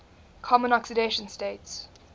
common oxidation states